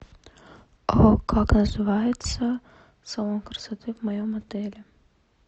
как называется салон красоты в моем отеле